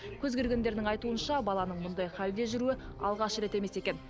көз көргендердің айтуынша баланың бұндай халде жүруі алғаш рет емес екен